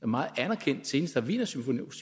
meget anerkendt senest har wienersymphonikerne